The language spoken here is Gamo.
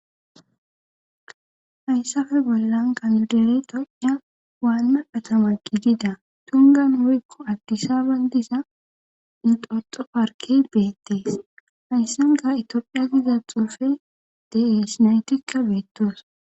hayssafe bollan kamildere tocia waanma atama gidida tungan hurikko addisaaban disa inxoxo parke beettees hayssan ga itophiya giza xuufe de7esnaytikka beettoos